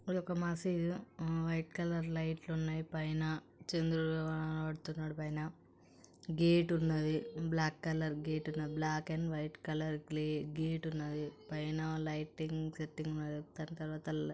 అదొక మసీదు ఆ వైట్ కలర్ లైట్లు ఉన్నాయి పైన. చంద్రుడు కనబడుతున్నాడు పైన. గేట్ ఉన్నది. బ్లాక్ కలర్ గేట్ ఉన్నది. బ్లాక్ అండ్ వైట్ కలర్ గ్లే-గేట్ ఉన్నది. పైన లైటింగ్ సెట్టింగ్ ఉన్నది. దాన్ని తర్వాత--